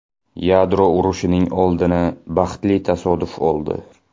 Yadro urushining oldini baxtli tasodif oldi.